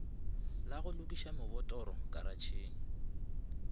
la go lokiša mebotoro karatšhe